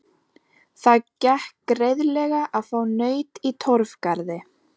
Það gekk greiðlega að fá naut í Torfgarði.